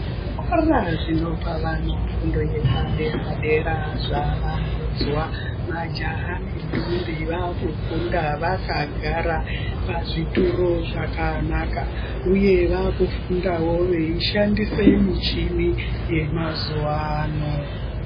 Zvikora zvinopa vana fundo yepadera-dera zvavandudzwa. Majaha nendombi, vaakufunda vakagara, pazvituru zvakanaka, uye vaakufundawo veishandise michini yemazuwaano.